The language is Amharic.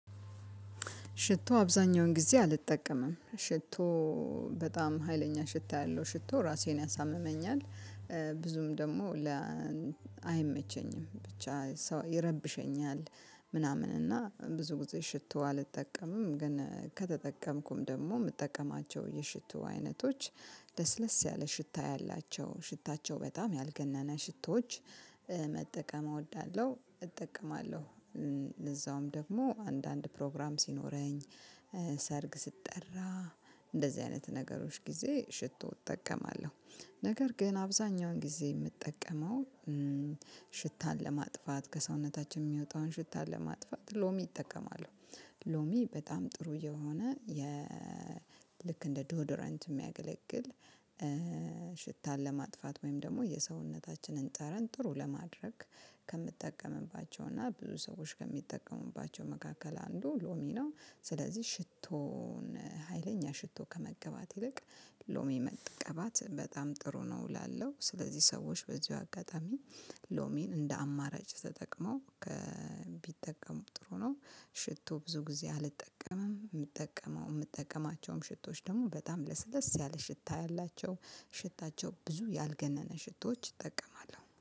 ሽቶ አብዛኛውን ጊዜ አልጠቀምም ሽቶ በጣም ሀይለኛ ሽታ ያለው ሽቶ ራሴን ያሳምመኛል። ብዙም ደግሞ ለ አይመቸኝም ብቻ ይረብሸኛል ምናምን እና ብዙ ጊዜ ሽቶ አልጠቀምም። ግን ከተጠቀምኩም ደግሞ የምጠቀማቸው የሽቱ አይነቶች። ለስለስ ያለ ሽታ ያላቸው ሽታቸው በጣም ያልገነነ ሽቶዎች መጠቀም እወዳለሁ እጠቀማለሁ። እዛውም ደግሞ አንዳንድ ፕሮግራም ሲኖረኝ። ሰርግ ስትጠራ እንደዚህ አይነት ነገሮች ጊዜ ሽቶ እጠቀማለሁ። ነገር ግን አብዛኛውን ጊዜ የምጠቀመው። ሽታን ለማጥፋት ከሰውነታችን የሚወጣውን ሽታ ለማጥፋት ሎሚ እጠቀማለው። ሎሚ በጣም ጥሩ የሆነ የ ልክ እንደ ዶዶረንት የሚያገለግል። ሽታን ለማጥፋት ወይም ደግሞ የሰውነታችንን ጠረን ጥሩ ለማድረግ። ከምትጠቀምባቸው እና ብዙ ሰዎች ከሚጠቀሙባቸው መካከል አንዱ ሎሚ ነው። ስለዚህ ሽቶን ሀይለኛ ሽቶ ከመቀባት ይልቅ ሎሜ መጠቀባት በጣም ጥሩ ነው እላለው። ስለዚህ ሰዎች በዚሁ አጋጣሚ። ሎሚን እንደ አማራጭ ተጠቅመው ቢጠቀሙ ጥሩ ነው። ሽቶ ብዙ ጊዜ አልጠቀምም የምጠቀመው የምጠቀማቸውም ሽቶዎች ደግሞ በጣም ለስለስ ያለ ሽታ ያላቸው ሽታቸው ብዙ ያልገነነ ሽቶች እጠቀማለሁ